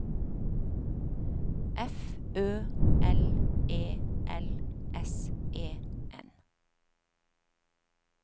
F Ø L E L S E N